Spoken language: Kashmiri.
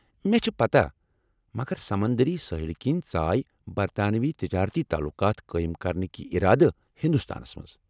مےٚ چھِ پتاہ، مگر سمنٛدٔری سٲحِلہٕ كِنی ژایہ برطانوی تجٲرتی تعلقات قٲیم کرنہٕ کہِ ارادٕ ہندوستانس منٛز ۔